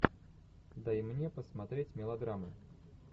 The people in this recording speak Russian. дай мне посмотреть мелодраму